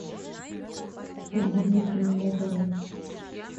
ольги дмитриевны назаровой